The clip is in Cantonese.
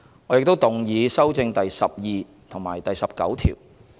我亦動議修正第12及19條。